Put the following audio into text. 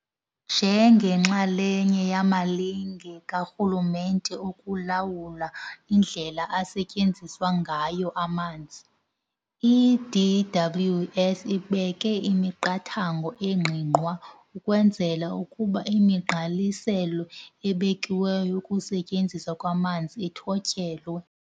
Njengenxalenye yamalinge karhulumente okulawula indlela asetyenziswa ngayo amanzi, i-DWS ibeke imiqathango engqingqwa ukwenzela ukuba imigqaliselo ebekiweyo yokusetyenziswa kwamanzi ithotyelwe.